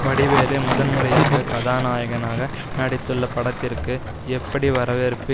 வடிவேலு முதன்முறையாக கதாநாயகனாக நடித்துள்ள படத்திற்கு எப்படி வரவேற்பு